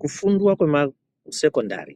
Kufundwa kwemasekondari